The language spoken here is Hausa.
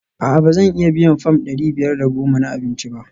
A'a ba zan iya biyan fam dari biyar da goma na abinci ba?